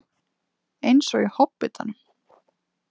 Eins og í Hobbitanum.